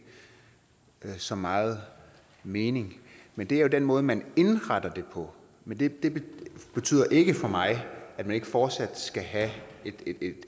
giver så meget mening men det er den måde man indretter det på men det betyder ikke for mig at man ikke fortsat skal have